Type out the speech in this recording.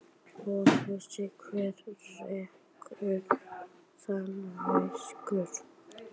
Og veistu hver rekur þann veitingastað?